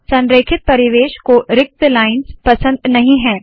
संरेखित परिवेश को रिक्त लाइन्स पसंद नहीं है